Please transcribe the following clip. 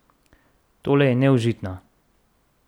Tole je neužitno!